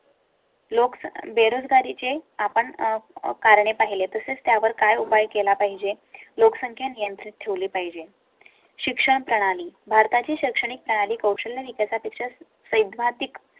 लोक बेरोजगारी चे आपण कारणे पाहिले तसेच त्यावर काय उपाय केला पाहिजे? लोकसंख्या नियंत्रित ठेवले पाहिजे. शिक्षणप्रणाली भारता ची शैक्षणिक प्रणाली कौशल्य विकासा पेक्षा सैद्धान्तिक